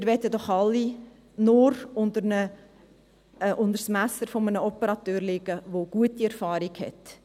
Wir wollen doch alle unter das Messer eines Operateurs, der gute Erfahrungen hat.